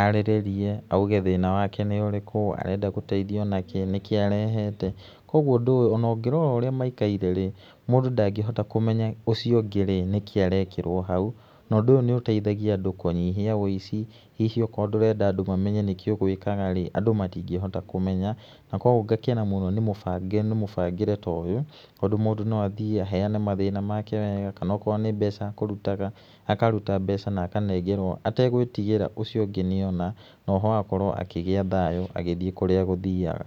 arĩrĩrie auge thĩna wake nĩ ũrĩkũ, arenda gũteithio nakĩ, nĩkĩ arehete, kuũgo undũ ũyũ, ona ũngĩrora ũrĩa maikare, mũndũ ndangĩhota kũmenya ũcio ũndĩ rĩ nĩkĩarekĩrwo hau. Na ũndũ ũyũ nĩ ũteithagia andũ kũnyihia wũici, hihi okorwo ndũrenda andũ mamemney nĩkĩ ũgũĩkaga rĩ, andũ matingĩhota kũmenya, nakuoguo ngakena mũno nĩ mũbangĩre ta ũyũ, tondũ mũndũ no athiĩ aheane mathna make wega, kana okorwo nĩ mbeca ekũrutaga akaruta mbeca na akanengerwo ategwĩtigĩra ũcio ugĩ nĩ ona, oho agakorwo akĩgíĩ thayũ agĩthiĩ kũrĩa agũthiaga.